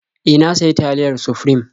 E, na sayi taliyar Sufrim.